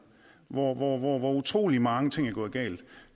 hvor hvor utrolig mange ting er gået galt